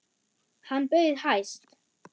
Hann bauð hæst.